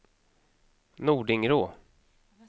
Nordingrå